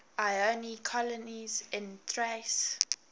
ionian colonies in thrace